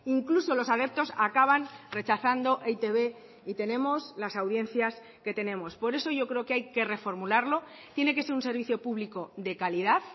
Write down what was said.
incluso los adeptos acaban rechazando e i te be y tenemos las audiencias que tenemos por eso yo creo que hay que reformularlo tiene que ser un servicio público de calidad